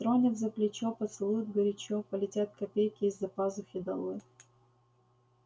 тронет за плечо поцелует горячо полетят копейки из-за пазухи долой